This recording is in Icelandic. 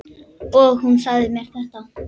Og hún sagði mér þetta.